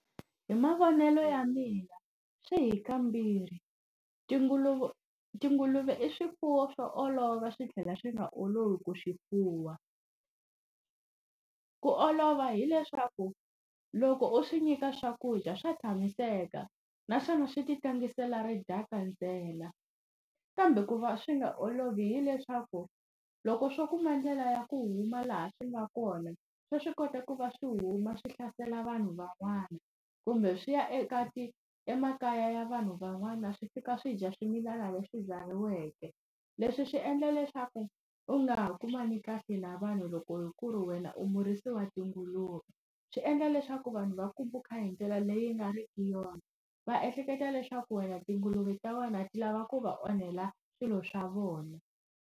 Hi mavonelo ya mina swi hi kambirhi. Tinguluve i swifuwo swo olova swi tlhela swi nga olovi ku swi fuwa. Ku olova hileswaku loko u swi nyika swakudya swa tshamiseka, naswona swi ti tlangisela ridaka ntsena. Kambe ku va swi nga olovi hileswaku, loko swo kuma ndlela ya ku huma laha swi nga kona, swa swi kota ku va swi huma swi hlasela vanhu van'wana, kumbe swi ya eka ti emakaya ya vanhu van'wana swi fika swi dya swimilana leswi byariweke. Leswi swi endla leswaku u nga ha kumani kahle na vanhu loko ku ri wena u murisi wa tinguluve. Swi endla leswaku vanhu va ku bukha hi ndlela leyi nga riki yona, va ehleketa leswaku wena tinguluve ta wena ti lava ku va onhela swilo swa vona.